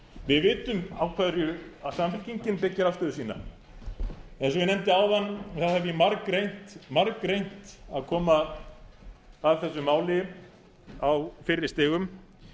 við vitum á hverju samfylkingin byggir afstöðu sína eins og ég nefndi áðan þá hef ég margreynt að koma að þessu máli á fyrri stigum